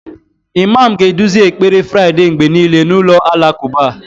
Imam ga-eduzi ekpere Friday mgbe niile n'ụlọ alakụba